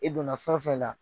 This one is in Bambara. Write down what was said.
I donna fɛn wo fɛn la.